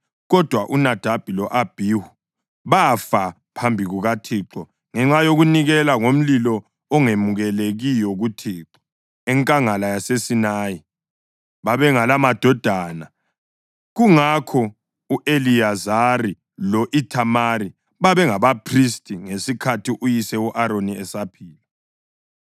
Kodwa, uNadabi lo-Abhihu bafa phambi kukaThixo ngenxa yokunikela ngomlilo ongemukelekiyo kuThixo enkangala yaseSinayi. Babengelamadodana; kungakho u-Eliyazari lo-Ithamari babangabaphristi ngesikhathi uyise u-Aroni esaphila.